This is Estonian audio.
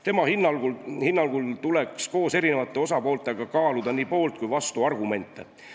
Tema hinnangul tuleks koos eri osapooltega kaaluda nii poolt- kui ka vastuargumente.